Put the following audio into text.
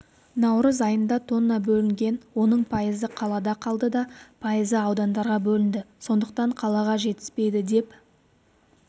наурыз айында тонна бөлінген оның пайызы қалада қалды да пайызы аудандарға бөлінді сондықтан қалаға жетіспейді деп